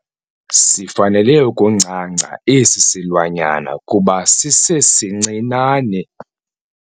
Sifanele ukuncanca esi silwanyana kuba sisesincinane.